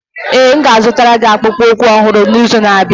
Ee, m ga-azụtara gị akpụkpọ ụkwụ ọhụrụ n'izu na-abịa.